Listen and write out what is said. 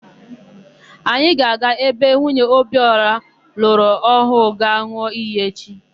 Anyị ga-aga ebe nwunye Obiora lụrụ ọhụụ ga-an̄ụ iyi echi.